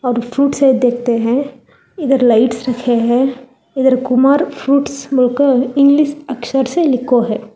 और फ्रूट्स देखते हैं इधर लाइट्स रखे हैं इधर कुमार फ्रूट्स इंग्लिश अक्षर से लिखो है।